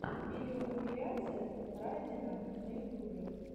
видеокомпиляция райдена на ютубе